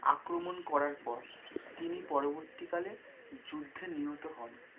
আক্রমণ করার পর তিনি পরবর্তীকালে যুদ্ধে নিহত হন।